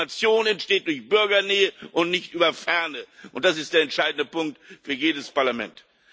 Legitimation entsteht durch Bürgernähe und nicht über Ferne, und das ist der entscheidende Punkt für jedes Parlament.